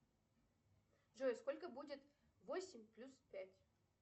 джой сколько будет восемь плюс пять